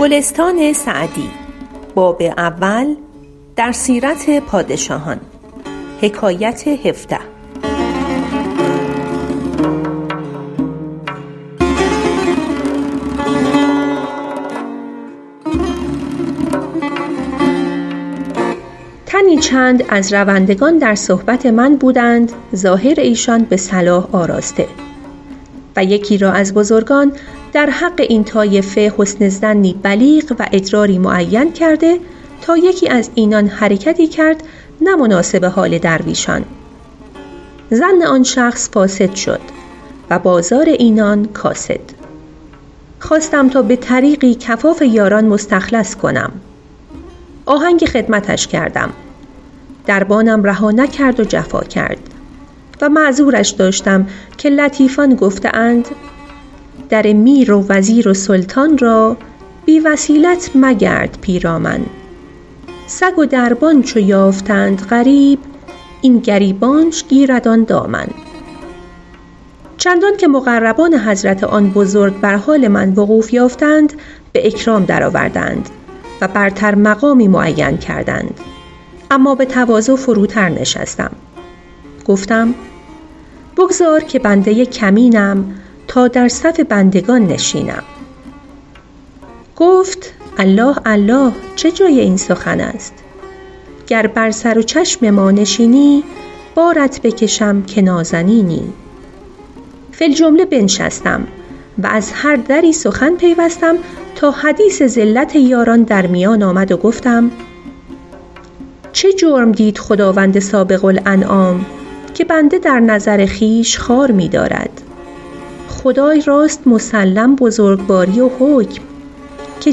تنی چند از روندگان در صحبت من بودند ظاهر ایشان به صلاح آراسته و یکی را از بزرگان در حق این طایفه حسن ظنی بلیغ و ادراری معین کرده تا یکی از اینان حرکتی کرد نه مناسب حال درویشان ظن آن شخص فاسد شد و بازار اینان کاسد خواستم تا به طریقی کفاف یاران مستخلص کنم آهنگ خدمتش کردم دربانم رها نکرد و جفا کرد و معذورش داشتم که لطیفان گفته اند در میر و وزیر و سلطان را بی وسیلت مگرد پیرامن سگ و دربان چو یافتند غریب این گریبانش گیرد آن دامن چندان که مقربان حضرت آن بزرگ بر حال وقوف من وقوف یافتند و به اکرام درآوردند و برتر مقامی معین کردند اما به تواضع فروتر نشستم و گفتم بگذار که بنده کمینم تا در صف بندگان نشینم گفت الله الله چه جای این سخن است گر بر سر و چشم ما نشینی بارت بکشم که نازنینی فی الجمله بنشستم و از هر دری سخن پیوستم تا حدیث زلت یاران در میان آمد و گفتم چه جرم دید خداوند سابق الانعام که بنده در نظر خویش خوار می دارد خدای راست مسلم بزرگواری و حکم که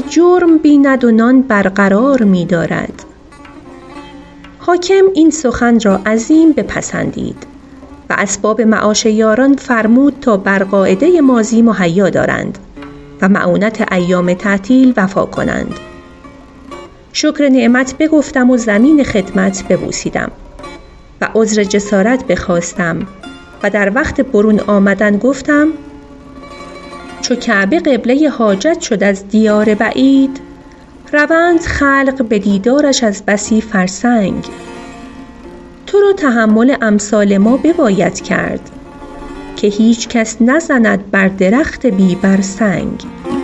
جرم بیند و نان برقرار می دارد حاکم این سخن را عظیم بپسندید و اسباب معاش یاران فرمود تا بر قاعده ماضی مهیا دارند و مؤونت ایام تعطیل وفا کنند شکر نعمت بگفتم و زمین خدمت ببوسیدم و عذر جسارت بخواستم و در وقت برون آمدن گفتم چو کعبه قبله حاجت شد از دیار بعید روند خلق به دیدارش از بسی فرسنگ تو را تحمل امثال ما بباید کرد که هیچ کس نزند بر درخت بی بر سنگ